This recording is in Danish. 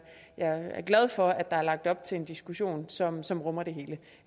jeg er glad for at der er lagt op til en diskussion som som rummer det hele